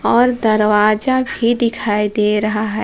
और दरवाजा भी दिखाई दे रहा है।